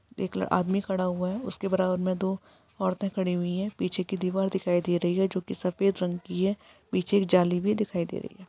एक ल आदमी खड़ा हुआ हैं। उसके बराबर में दो औरते खड़ी हुई है। पीछे की दीवार दिखाई दे रही है जो की सफेद रंग की है। पीछे जाली भी दिखाई दे रही है।